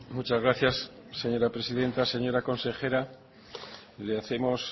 muchas gracias señora presidenta señora consejera le hacemos